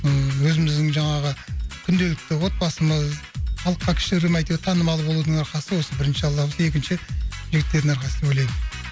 ыыы өзіміздің жаңағы күнделікті отбасымыз халыққа кішігірім әйтеу танымал болудың арқасы осы бірінші алланың болса екінші жігіттердің арқасы деп ойлаймын